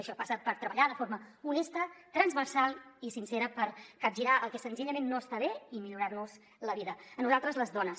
això passa per treballar de forma honesta transversal i sincera per capgirar el que senzillament no està bé i millorar·nos la vida a nosaltres les dones